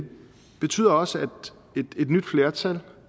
betyder også at et nyt flertal